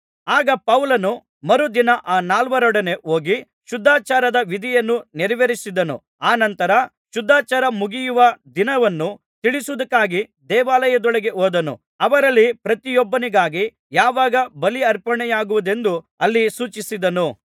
ಆಗ ಪೌಲನು ಮರುದಿನ ಆ ನಾಲ್ವರೊಡನೆ ಹೋಗಿ ಶುದ್ಧಾಚಾರದ ವಿಧಿಯನ್ನು ನೆರವೇರಿಸಿದನು ಅನಂತರ ಶುದ್ಧಾಚಾರ ಮುಗಿಯುವ ದಿನವನ್ನು ತಿಳಿಸುವುದಕ್ಕಾಗಿ ದೇವಾಲಯದೊಳಗೆ ಹೋದನು ಅವರಲ್ಲಿ ಪ್ರತಿಯೊಬ್ಬನಿಗಾಗಿ ಯಾವಾಗ ಬಲಿಯರ್ಪಣೆಯಾಗುವುದೆಂದು ಅಲ್ಲಿ ಸೂಚಿಸಿದನು